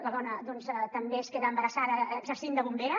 la dona també es queda embarassada exercint de bombera